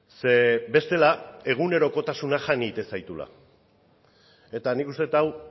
ze bestela egunerokotasuna jan egiten zaituela eta nik uste dut hau